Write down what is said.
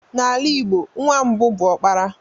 N'ala Igbo, nwa mbụ bụ okpara.